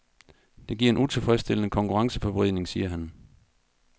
Det giver en utilfredsstillende konkurrenceforvridning, siger han.